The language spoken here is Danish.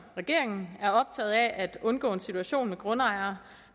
regeringen er optaget af at undgå en situation med grundejere